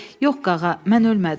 Yox, qağa, mən ölmədim.